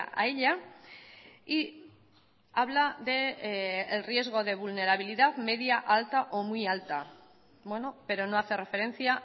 a ella y habla del riesgo de vulnerabilidad media alta o muy alta bueno pero no hace referencia